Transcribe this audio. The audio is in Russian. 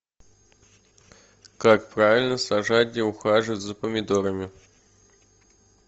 как правильно сажать и ухаживать за помидорами